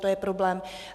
To je problém.